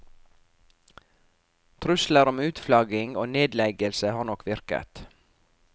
Trusler om utflagging og nedleggelse har nok virket.